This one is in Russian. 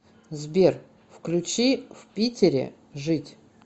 сбер включи в питере жить